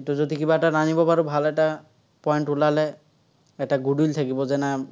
এইটো যদি কিবা এটা টানিব পাৰো, ভাল এটা point ওলালে, এটা goodwill থাকিব, যে নাই